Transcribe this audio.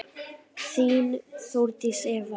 Þín, Þórdís Eva.